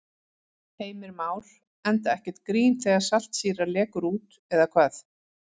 Heimir Már: Enda ekkert grín þegar saltsýra lekur út eða hvað?